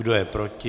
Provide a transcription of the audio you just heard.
Kdo je proti?